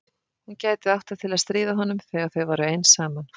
Hún gæti átt það til að stríða honum þegar þau væru ein saman.